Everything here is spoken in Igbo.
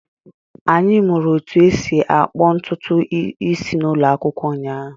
Anyị mụrụ otú e si akpụ ntutu isi n'ụlọ akwụkwọ ụnyaahụ.